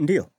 Ndiyo,